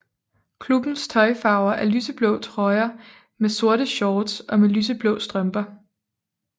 Klubbens tøjfarver er lyseblå trøjer med sorte shorts og med lyseblå strømper